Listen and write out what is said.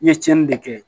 I ye tiɲɛni de kɛ